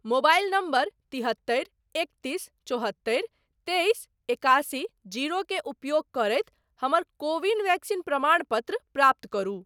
Mobile number तिहत्तरि एकतीस चौहत्तरि तेइस एकासी जीरो के उपयोग करैत हमर को विन वैक्सीन प्रमाणपत्र प्राप्त करु।